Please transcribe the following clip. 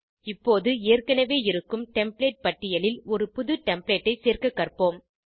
இப்போது ஏற்கனவே இருக்கும் டெம்ப்ளேட் பட்டியலில் ஒரு புது டெம்ப்ளேட் ஐ சேர்க்க கற்போம்